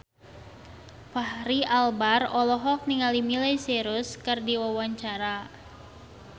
Fachri Albar olohok ningali Miley Cyrus keur diwawancara